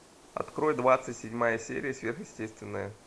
открой двадцать седьмая серия сверхъестественное